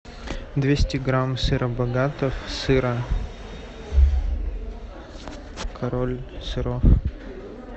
двести грамм сыра богатов сыра король сыров